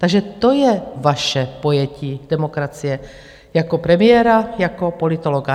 Takže to je vaše pojetí demokracie jako premiéra, jako politologa.